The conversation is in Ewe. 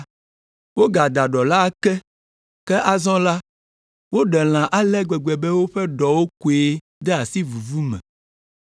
Wogada ɖɔ la ake ke azɔ la, woɖe lã ale gbegbe be woƒe ɖɔwo koe de asi vuvu me!